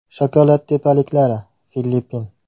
Shokolad tepaliklari, Filippin.